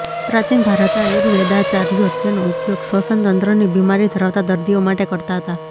પ્રાચીન ભારતના આયુર્વેદાચાર્યો તેનો ઉપયોગ શ્વસનતંત્રની બિમારી ધરાવતા દર્દીઓ માટે કરતા હતા